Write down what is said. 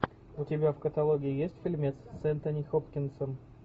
у тебя в каталоге есть фильмец с энтони хопкинсом